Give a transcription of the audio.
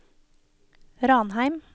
Ranheim